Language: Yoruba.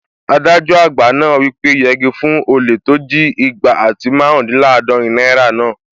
Adájọ àgbà náà wí pé "yegi fún olè tó jí igba àti márùndínlàádọ́rin náírà náà!"